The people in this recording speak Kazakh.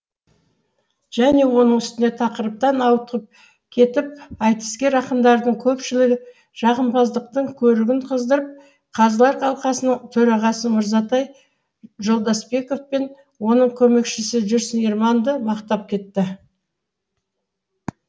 және оның үстіне тақырыптан ауытқып кетіп айтыскер ақындардың көпшілігі жағымпаздықтың көрігін қыздырып қазылар алқасының төрағасы мырзатай жолдасбеков пен оның көмекшісі жүрсін ерманды мақтап кетті